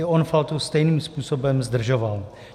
I on Faltu stejným způsobem zdržoval.